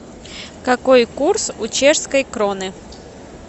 какой курс у чешской кроны